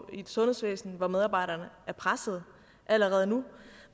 i et sundhedsvæsen hvor medarbejderne er pressede allerede nu